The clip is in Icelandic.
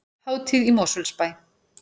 Hátíð í Mosfellsbæ